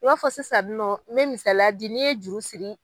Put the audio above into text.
I b'a fɔ sisannɔ n bɛ misaliya di n'i ye juru siri.